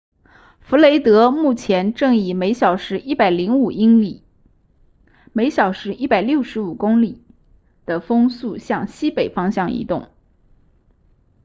弗雷德目前正以每小时105英里每小时165公里的风速向西北方向移动